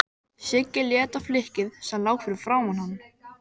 Siggi leit á flykkið sem lá fyrir framan hann.